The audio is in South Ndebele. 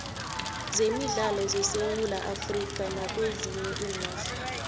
zemidlalo zesewula afrikha nakwezinye iinarha